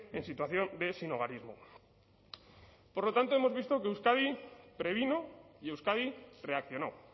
en situación de sinhogarismo por lo tanto hemos visto que euskadi previno y euskadi reaccionó